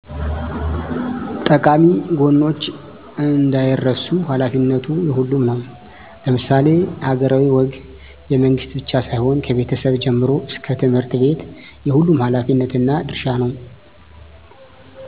ጠቃሚ ወጎች እንዳይረሱ ሃላፊነቱ የሁሉም ነው ለምሳሌ ሀገራሀዊ ወግ የመንግስት ብቻ ሳይሆን ከቤቸሰብ ጀምሮ እሰከ ትምህርትቤት የሁሉም ሀላፊነትና ድርሻ ነው